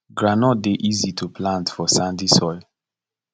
groundnut dey easy to plant for sandy soil